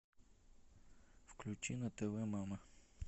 включи на тв мама